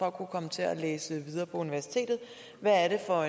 at kunne komme til at læse videre på universitetet hvad er det for